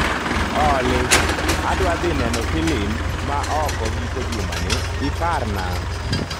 Olly, adhwa dhi neno filim ma oko giko jumani, iparna.